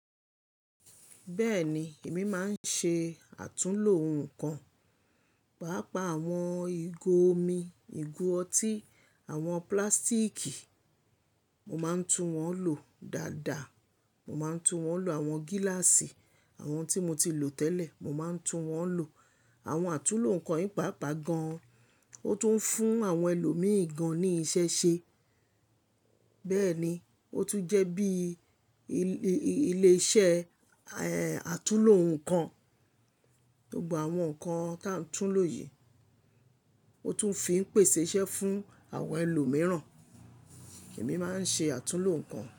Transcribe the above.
Bẹ́ẹ̀ni, èmi máa ń ṣe àtúnlo ohun kan, pàápàá àwọn ìgò omi, ìgò ọtí, àwọn plástíìkì, mo máa ń tún wọ́n lò dáadáa. Mo máa ń tún wọ́n lò àwọn gíláàsì àwọn tí mo ti lò tẹ́lẹ̀, mo máa ń tún wọ́n lò. Àwọn àtúnlo nnkan ìpápa gan, o tún ń fún àwọn ẹlòmíi gan ní iṣẹ́ ṣe. Bẹ́ẹ̀ni, o tún jẹ́ bí ilé iṣẹ́ àtúnlo nnkan. Gbogbo àwọn nnkan tá tún lò yìí, o tún fi ń pèsẹ́ iṣẹ́ fún àwọn ẹlòmíràn. Ẹ̀mi máa ń ṣe àtúnlo nnkan.